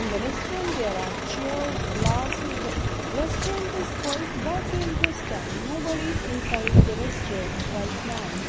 in the restaurant there are chairs glasses the restaurant is quite vacant this time nobody is inside the restaurant right now.